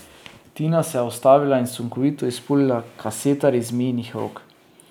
Tina se je ustavila in sunkovito izpulila kasetar iz Mijinih rok.